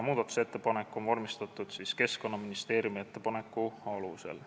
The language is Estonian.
Muudatusettepanek on vormistatud Keskkonnaministeeriumi ettepaneku alusel.